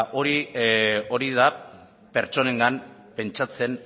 hori da pertsonengan pentsatzen